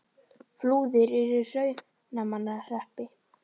Flúðir er í Hrunamannahreppi.